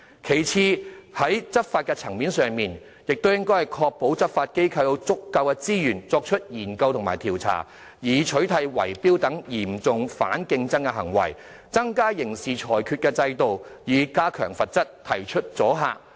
其次，在執法層面上，當局應該確保執法機構有足夠資源作出研究和調查，以取締圍標等嚴重反競爭行為，加強刑事制裁制度，以增加罰則，產生阻嚇作用。